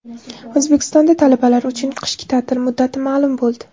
O‘zbekistonda talabalar uchun qishki ta’til muddati ma’lum bo‘ldi.